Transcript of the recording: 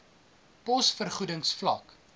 pos vergoedings vlak